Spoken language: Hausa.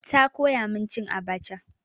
Ta koya min cin abaca.